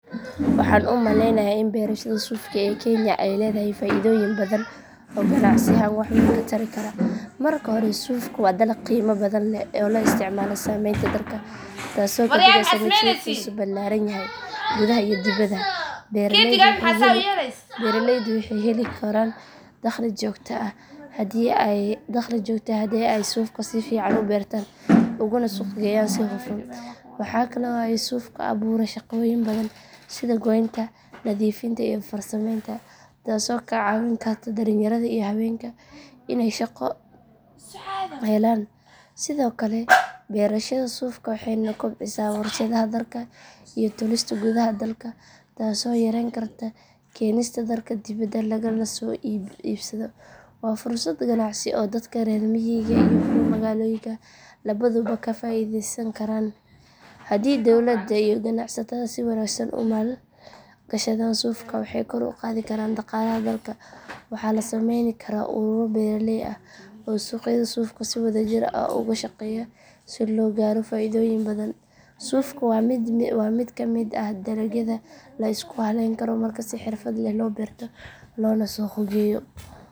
Waxaan u malaynayaa in beerashada suufka ee kenya ay leedahay faa’iidooyin badan oo ganacsi ahaan wax weyn ka tari kara. Marka hore suufku waa dalag qiimo badan leh oo loo isticmaalo samaynta dharka taasoo ka dhigaysa mid suuqiisu ballaaran yahay gudaha iyo dibadda. Beeraleydu waxay heli karaan dakhli joogto ah haddii ay suufka si fiican u beertaan uguna suuq geeyaan si hufan. Waxa kale oo ay suufku abuuraa shaqooyin badan sida goynta, nadiifinta iyo farsamaynta taasoo ka caawin karta dhalinyarada iyo haweenka inay shaqo helaan. Sidoo kale beerashada suufka waxay kobcisaa warshadaha dharka iyo tolista gudaha dalka taasoo yareyn karta keenista dharka dibadda lagala soo iibsado. Waa fursad ganacsi oo dadka reer miyiga iyo kuwa magaalooyinka labaduba ka faa’iideysan karaan. Haddii dowladda iyo ganacsatada si wanaagsan u maal gashadaan suufka waxay kor u qaadi karaan dhaqaalaha dalka. Waxaa la sameyn karaa ururo beeraley ah oo suuqyada suufka si wadajir ah uga shaqeeya si loo gaaro faa’iidooyin badan. Suufka waa mid ka mid ah dalagyada la isku hallayn karo marka si xirfad leh loo beerto loona suuq geeyo.